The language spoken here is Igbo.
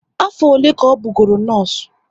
Afọ ole ka ọ bụ goro nọọsụ?